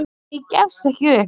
En ég gefst ekki upp.